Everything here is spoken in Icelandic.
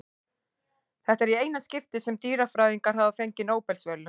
Þetta er í eina skiptið sem dýrafræðingar hafa fengið Nóbelsverðlaun.